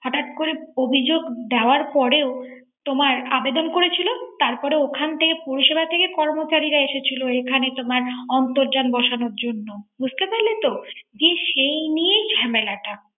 হঠাৎ করে অভিযোগ দেওয়ার পরেও তোমার আবেদন করেছিল তারপর ওখান থেকে পুলিশেরা থেকে কর্মচারীরা এসেছিল এখানে তোমার অর্ন্তধান বসানোর জন্য, বুঝতে পারলেতো। সেই নিয়েই জামেলা